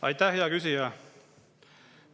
Aitäh, hea küsija!